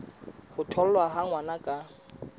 ho tholwa ha ngwana ka